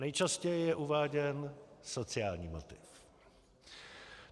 Nejčastěji je uváděn sociální motiv.